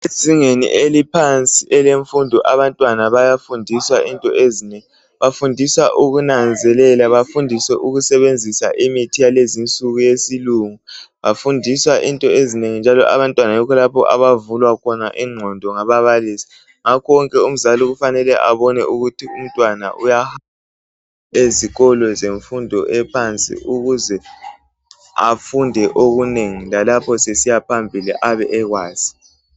Ezingeni eliphansi elefundo abantwana bayafundiswa into ezinengi bafundiswa ukunanzelela bafundiswe ukusebenzisa imithi yalezi nsuku yesilungu bafundiswa into ezinengi njalo abantwana yikho lapho abavulwa khona ingqondo ngababalisi ngakho wonke umzali kufanele abone ukuthi umntwana uya ezikolo zefundo ephansi ukuze afunde okuzinengi lalapho esiyaphambili abe sekwazi.